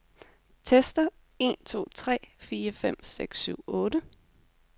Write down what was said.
Tester en to tre fire fem seks syv otte.